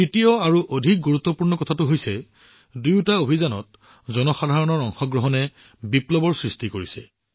তৃতীয় কথাটো অধিক গুৰুত্বপূৰ্ণ দুয়োটা অভিযানত জনসাধাৰণৰ অংশগ্ৰহণৰ বাবে এক বিপ্লৱলৈ পৰিণত হৈছে